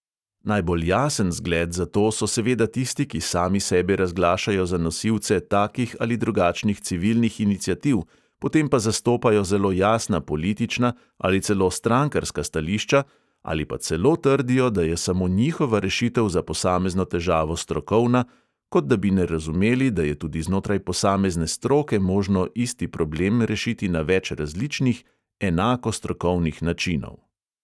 Najbolj jasen zgled za to so seveda tisti, ki sami sebe razglašajo za nosilce takih ali drugačnih civilnih iniciativ, potem pa zastopajo zelo jasna politična ali celo strankarska stališča ali pa celo trdijo, da je samo njihova rešitev za posamezno težavo strokovna, kot da bi ne razumeli, da je tudi znotraj posamezne stroke možno isti problem rešiti na več različnih, enako strokovnih načinov.